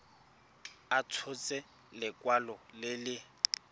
a tshotse lekwalo le le